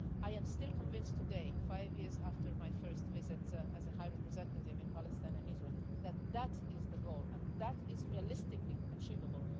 I am still convinced today, five years after my first visit as a High Representative in Palestine and Israel, that that is the goal and that is realistically achievable.